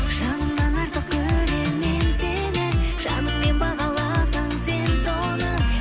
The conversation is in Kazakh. жанымнан артық көремін мен сені жаныңмен бағаласаң сен соны